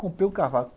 Comprei o cavalo.